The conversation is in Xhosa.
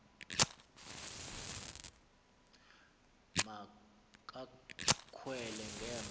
ma kakhwele ngemva